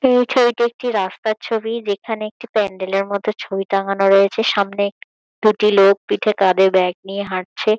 এই ছবিতে একটি রাস্তার ছবি যেখানে একটি প্যান্ডেল -এর মতো ছবি টাঙানো রয়েছে। সামনে দুটি লোক পিঠে কাঁধে ব্যাগ নিয়ে হাঁটছে।